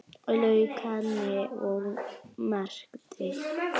Lauk henni og merkti.